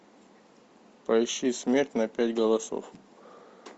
поищи смерть на пять голосов